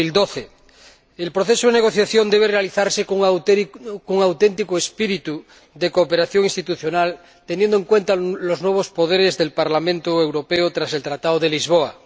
2012. El proceso de negociación debe realizarse con un auténtico espíritu de cooperación institucional, teniendo en cuenta los nuevos poderes del Parlamento Europeo tras el Tratado de Lisboa.